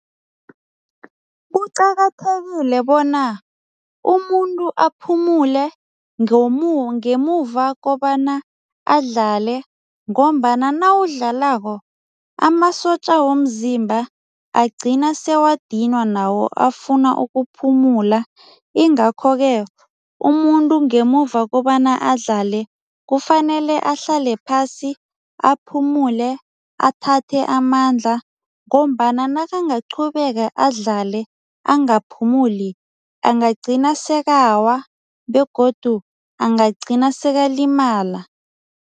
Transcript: Kuqakathekile bona umuntu aphumule ngemuva kobana adlale ngombana nawudlalako amasotja womzimba agcina sewadinwa nawo afuna ukuphumula ingakho-ke umuntu ngemuva kobana adlale, kufanele ahlale phasi aphumule, athathe amandla ngombana nakangaqhubeka adlale, angaphefumuli angagcina sekawa begodu angagcina sekalimala.